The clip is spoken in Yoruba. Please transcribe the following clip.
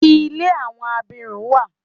Ilé àwọn abirùn wa.